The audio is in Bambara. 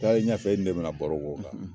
Taaren ɲɛfɛ, e ni ne bina baro k'o kan